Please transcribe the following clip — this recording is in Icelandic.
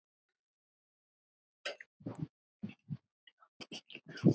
En er þetta íþrótt?